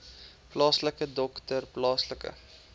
plaaslike dokter plaaslike